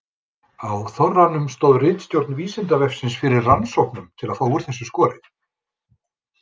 Á Þorranum stóð ritstjórn Vísindavefsins fyrir rannsóknum til að fá úr þessu skorið.